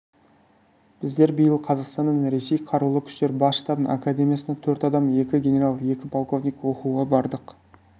біздер биыл қазақстаннан ресей қарулы күштері бас штабының академиясына төрт адам екі генерал екі полковник оқуға бардық